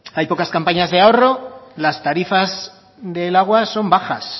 hay pocas campañas de ahorro las tarifas del agua son bajas